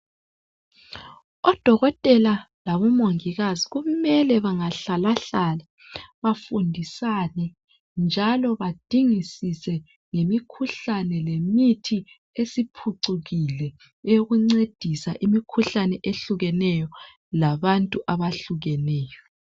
Odokotela labomongikazi kumele bangahlalahlala bafundisane njalo badingisise ngemikhuhlane lemithi esiphucukile eyokuncedisa imikhuhlane ehlukeneyo labantu abahlukeneyo.